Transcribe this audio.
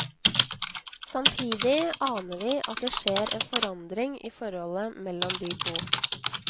Samtidig aner vi at det skjer en forandring i forholdet mellom de to.